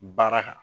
Baara kan